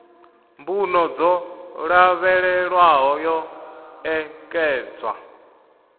mbuno dzo lavhelelwaho yo ṋekedzwa